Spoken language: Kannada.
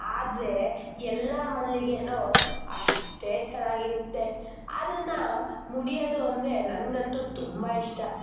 ಆದರೆ ಎಲ್ಲ ಮಲ್ಲಿಗೆನು ಅಷ್ಟೇ ಚೆನ್ನಾಗಿರುತ್ತೆ ಅದನ್ನ ಮುಡಿಯೋದು ಅಂದ್ರೆ ನಂಗಂತೂ ತುಂಬಾ ಇಷ್ಟ.